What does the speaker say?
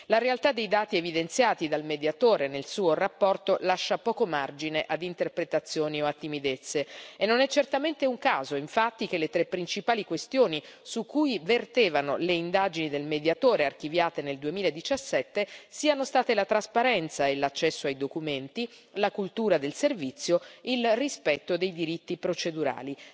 La realtà dei dati evidenziati dal Mediatore nella sua relazione lascia poco margine ad interpretazioni o a timidezze e non è certamente un caso, infatti, che le tre principali questioni su cui vertevano le indagini del Mediatore archiviate nel 2017 siano state la trasparenza e l'accesso ai documenti, la cultura del servizio e il rispetto dei diritti procedurali.